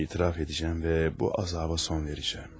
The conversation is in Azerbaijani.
Etiraf edəcəyəm və bu əzaba son verəcəyəm.